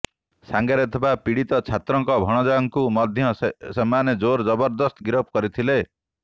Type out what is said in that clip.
ସାଙ୍ଗରେ ଥିବା ପୀଡ଼ିତ ଛାତ୍ରଙ୍କ ଭଣଜାଙ୍କୁ ମଧ୍ୟ ସେମାନେ ଜୋର ଜବରଦସ୍ତ ଗିରଫ କରିଥିଲେ